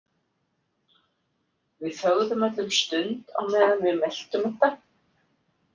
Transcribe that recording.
Við þögðum öll um stund á meðan við meltum þetta.